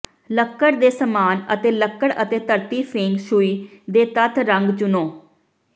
ਲੱਕੜ ਦੇ ਸਮਾਨ ਅਤੇ ਲੱਕੜ ਅਤੇ ਧਰਤੀ ਫੇਂਗ ਸ਼ੂਈ ਦੇ ਤੱਤ ਰੰਗ ਚੁਣੋ